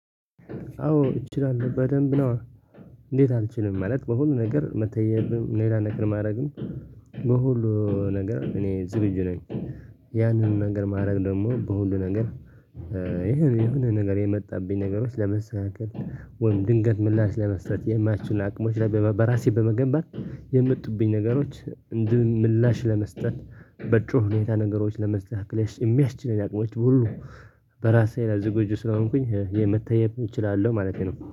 አዎ እችላለሁ በደንብ ነዋ። እንዴት አልችልም ማለት በሁሉ ነገር መተየብም ሌላ ነገር ማድረግም በሁሉ ነገር እኔ ዝግጁ ነኝ። ያንን ነገር ማድረግ ደግሞ በሁሉ ነገር። የሆነ ነገር የመጣብኝ ነገሮች ለመስራት ወይም ድንገት ምላሽ ለመስጠት የማይችሉ አቅሞች ላይ በራሴ በመገንባት የመጡብኝ ነገሮች እንዲህ ምላሽ ለመስጠት በጩኸ ሁኔታ ነገሮች ለማስተካከል የሚያስችለኝ አቅሞች ሁሉ። በራሴ ላይ ዝግጁ ስለሆንኩኝ የመታየት እችላለሁ ማለቴ ነው